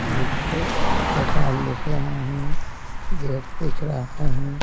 नीचे दुकान दिख रहा है गेट दिख रहा है।